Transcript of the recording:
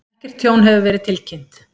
Ekkert tjón hefur verið tilkynnt